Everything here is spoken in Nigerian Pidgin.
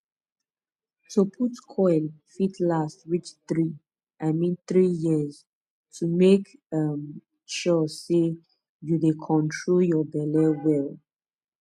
to put coil fit last reach 3 i mean 3yrs to make um sure say you dey control your belle well